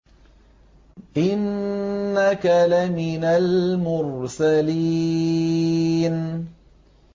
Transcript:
إِنَّكَ لَمِنَ الْمُرْسَلِينَ